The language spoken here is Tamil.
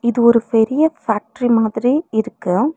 இது ஒரு பெரிய ஃபேக்ட்ரி மாதிரி இருக்கு.